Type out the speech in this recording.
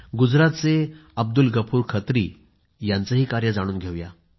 गुजरातचे अब्दुल गफूर खत्री यांचं कार्य जाणून घ्या